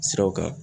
Siraw kan